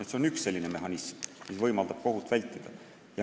See on üks mehhanism, mis võimaldab kohut vältida.